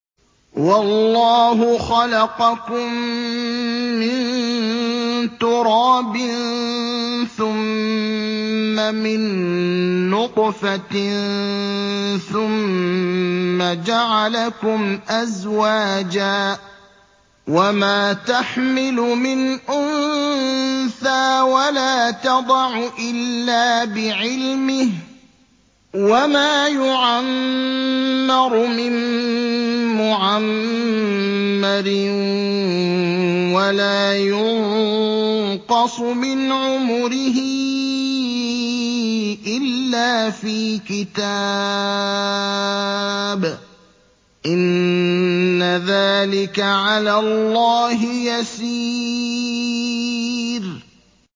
وَاللَّهُ خَلَقَكُم مِّن تُرَابٍ ثُمَّ مِن نُّطْفَةٍ ثُمَّ جَعَلَكُمْ أَزْوَاجًا ۚ وَمَا تَحْمِلُ مِنْ أُنثَىٰ وَلَا تَضَعُ إِلَّا بِعِلْمِهِ ۚ وَمَا يُعَمَّرُ مِن مُّعَمَّرٍ وَلَا يُنقَصُ مِنْ عُمُرِهِ إِلَّا فِي كِتَابٍ ۚ إِنَّ ذَٰلِكَ عَلَى اللَّهِ يَسِيرٌ